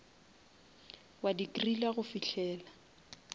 wa di griller go fihlela